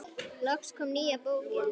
Loks kom nýja bókin.